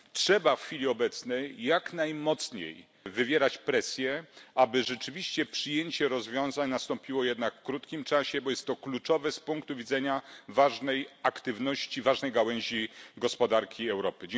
Trzeba w chwili obecnej jak najmocniej wywierać presję, aby rzeczywiście przyjęcie rozwiązań nastąpiło jednak w krótkim czasie, bo jest to kluczowe z punktu widzenia ważnej aktywności, ważnej gałęzi gospodarki Europy.